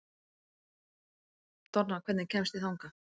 Donna, hvernig kemst ég þangað?